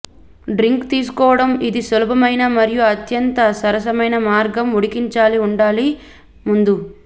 drink తీసుకోవడం ఇది సులభమైన మరియు అత్యంత సరసమైన మార్గం ఉడికించాలి ఉండాలి ముందు